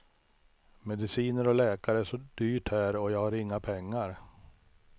Mediciner och läkare är så dyrt här och jag har inga pengar.